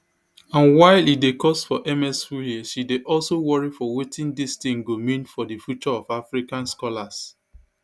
and while e dey cost for ms wurie she dey also worry for wetin dis tin go mean for di future of african scholars